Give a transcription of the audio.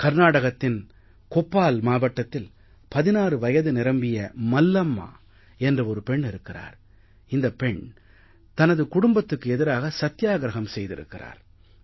கர்நாடகத்தின் கொப்பால் மாவட்டத்தில் 16 வயது நிரம்பிய மல்லம்மா என்ற ஒரு பெண் இருக்கிறார் இந்தப் பெண் தனது குடும்பத்துக்கு எதிராக சத்தியாகிரஹம் செய்திருக்கிறார்